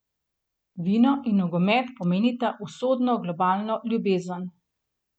Vino in nogomet pomenita usodno globalno ljubezen.